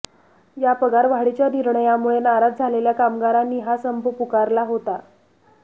या पगार वाढीच्या निर्णयामुळे नाराज झालेल्या कामगारांनी हा संप पुकारला होता